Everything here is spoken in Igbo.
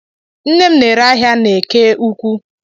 Nne m n'ere ahịa n'eke ụkwụ.